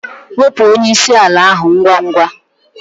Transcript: Wepụ onye isi ala ahụ ngwa ngwa!